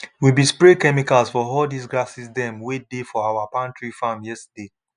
we bin spray chemicals for all dis grasses dem wey dey for our palm tree farm yesterday